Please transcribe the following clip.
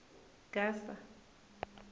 gasa